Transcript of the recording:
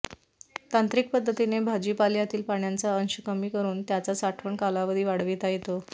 तांत्रिक पद्धतीने भाजीपाल्यातील पाण्याचा अंश कमी करून त्याचा साठवण कालावधी वाढविता येतो